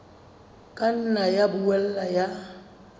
ka nna ya boela ya